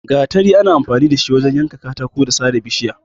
Gatari ana amfani da shi wajen yanka katako da sare bishiya.